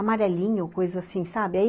Amarelinho, coisa assim, sabe?